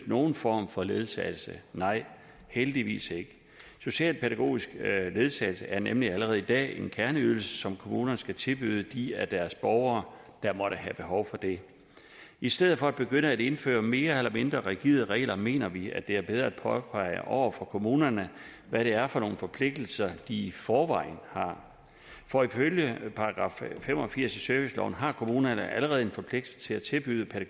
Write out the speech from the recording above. nogen form for ledsagelse nej heldigvis ikke socialpædagogisk ledsagelse er nemlig allerede i dag en kerneydelse som kommunerne skal tilbyde de af deres borgere der måtte have behov for det i stedet for at begynde at indføre mere eller mindre rigide regler mener vi at det er bedre at påpege over for kommunerne hvad det er for nogle forpligtelser de i forvejen har for ifølge § fem og firs i serviceloven har kommunerne allerede en forpligtelse til at tilbyde